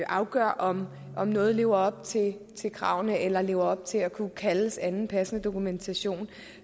afgør om om noget lever op til til kravene eller lever op til at kunne kaldes anden passende dokumentation